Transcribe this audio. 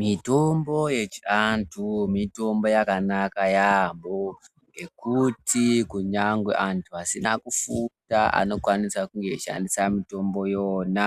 Mitombo yechiantu, mitombo yakanaka yaambo ngekuti kunyangwe antu asina kufunda anokwanisa kushandisa mitombo iyona.